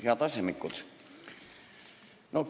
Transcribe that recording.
Head asemikud!